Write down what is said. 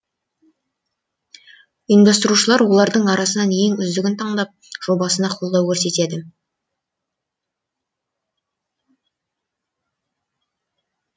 ұйымдастырушылар олардың арасынан ең үздігін таңдап жобасына қолдау көрсетеді